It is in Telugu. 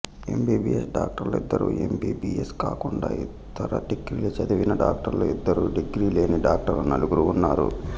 ఎమ్బీబీయెస్ డాక్టర్లు ఇద్దరు ఎమ్బీబీయెస్ కాకుండా ఇతర డిగ్రీలు చదివిన డాక్టర్లు ఇద్దరు డిగ్రీ లేని డాక్టర్లు నలుగురు ఉన్నారు